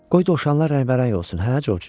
Qoy dovşanlar rəngbərəng olsun, hə Corc?